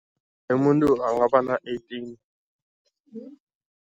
Umuntu angaba na-eighteen.